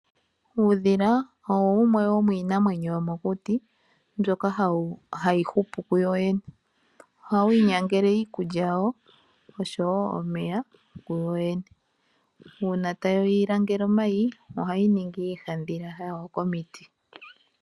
Uudhila owo wumwe womiinamwenyo yomokuti mboka hayi hupu kuyo wene. Ohawu inyangele iikulya yawo oshowo omeya kuyoyene. Uuna tayi langele omayi ohayi ningi iihadhila yawo komiti.